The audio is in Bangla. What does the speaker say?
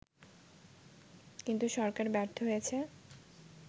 কিন্তু সরকার ব্যর্থ হয়েছে